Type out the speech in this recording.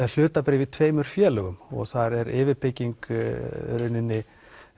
hlutabréf í tveimur félögum og þar er yfirbygging í rauninni